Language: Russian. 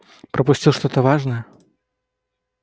пропустил что-то важное